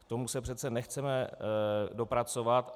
K tomu se přece nechceme dopracovat.